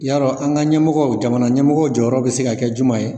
Yarɔ an ka ɲɛmɔgɔw jamana ɲɛmɔgɔw jɔyɔrɔ bɛ se ka kɛ juma ye?